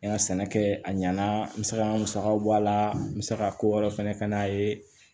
N ka sɛnɛ kɛ a ɲɛna n bɛ se ka musakaw bɔ a la n bɛ se ka ko wɛrɛ fɛnɛ ka n'a ye